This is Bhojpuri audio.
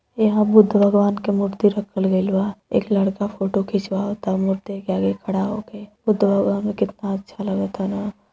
यहाँं बुद्ध भगवान के मूर्ति रखल गईल बा। एक लड़का फोटो खिंचवाता मूर्ति के आगे खड़ा होक। बुद्ध भगवान केतना अच्छा लगातन।